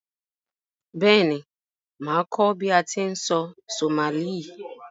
Béèni, màá kó bi a ti n sọ Somali